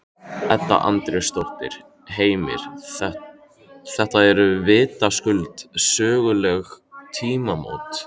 Edda Andrésdóttir: Heimir, þetta eru vitaskuld söguleg tímamót?